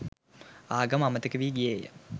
ආගම අමතක වී ගියේය